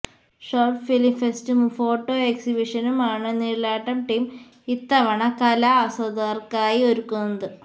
short film ഫെസ്റ്റും photo എക്സിബിഷനുമാണ് Nizhalattam team ഇത്തവണ കലാസ്വാദകർക്കായി ഒരുക്കുന്നത്